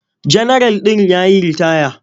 Janaral ɗin ya yi ritaya.